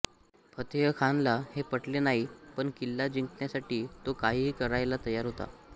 फतेहखानला हे पटले नाही पण किल्ला जिंकण्यासाठी तो काहीही करायला तयार होता